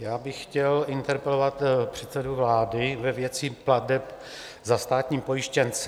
Já bych chtěl interpelovat předsedu vlády ve věci plateb za státní pojištěnce.